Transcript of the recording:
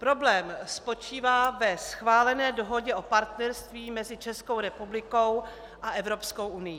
Problém spočívá ve schválené Dohodě o partnerství mezi Českou republikou a Evropskou unií.